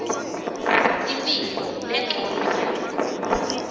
imphilo lencono yawo